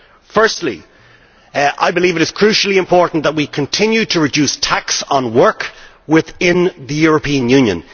Firstly, I believe it is crucially important that we continue to reduce tax on work within the European Union.